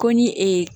Ko ni ee